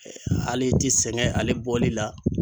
hali i ti sɛgɛn ale bɔli la.